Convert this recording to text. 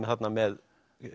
þarna með